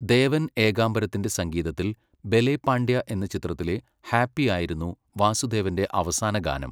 ദേവൻ ഏകാംബരത്തിന്റെ സംഗീതത്തിൽ 'ബലെ പാണ്ഡ്യ' എന്ന ചിത്രത്തിലെ 'ഹാപ്പി' ആയിരുന്നു വാസുദേവന്റെ അവസാന ഗാനം.